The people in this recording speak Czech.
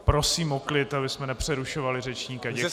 Prosím o klid, abychom nepřerušovali řečníka.